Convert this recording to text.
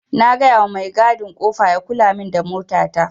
Na gayawa mai gadin kofa ya kulamin da mota ta.